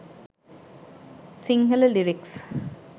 sinhala lyrics